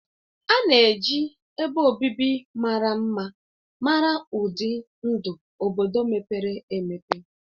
A na-eji ebe obibi mara mma mara ụdị ndụ obodo mepere emepe.